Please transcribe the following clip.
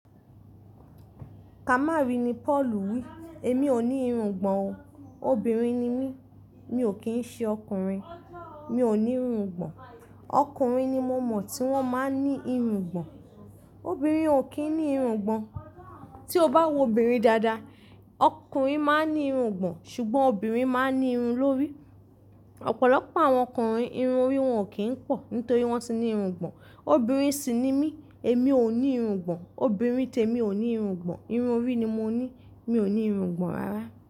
Kamari ni Paulu wí, "Èmi ò ní irungbọ̀n o, obìnrin ni mí, mi ò kín ṣe ọkùnrin, mi ò ní irungbọ̀n, ọkùnrin ni mò mọ̀ tí wọ́n máa ń ní irungbọ̀n, obìnrin ò kí ń ní irungbọ̀n. Tí o bá wo obìnrin dáadáa, ọkùnrin máa ń ní irungbọ̀n, ṣùgbọ́n obìnrin máa ń ní irun lórí. Ọ̀pọ̀lọpọ̀ àwọn ọkùnrin, irun orí wọn ò kí ń pọ̀ nítorí wọ́n ti ní irungbọ̀n. Obìnrin sì ni mí, èmi ò ní irungbọ̀n, obìnrin tèmi ò ní irungbọ̀n, irun orí ni mo ní, mi ò ní irungbọ̀n rárá".